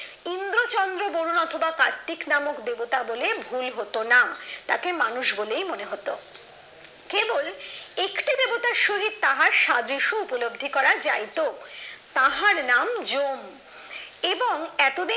কার্তিক নামে দেবতা বলে ভুল তাকে মানুষ বলেই মনে হতো কেবল একটি দেবতার সহিত তাহার সাদৃশ্য উপলব্ধি করা যাইতো তাহার নাম জম এবং এতদিন